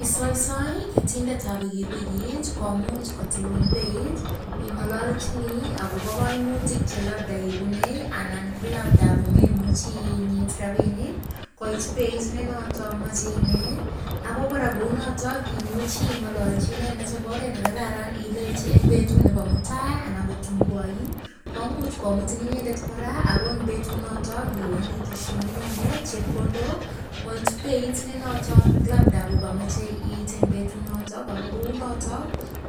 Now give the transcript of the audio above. Isoisoi ketindetab pikipikit komuch kotilun beit ing'ololjini akobo koimutik che labda ibune anan ko labda komemuchi inyit ropinik koit beit nenoto mochei inee ako kora kou noto imuchi ing'ololji inendet eng oret nekararan ilechi eng betut nebo mutai anan ko tun koyoin komuch komutin inendet kora oko eng betunoto iwendi iteshinii inendet chepkondok koit beit nenoto labda kokamechei it eng betunoto ako kounoto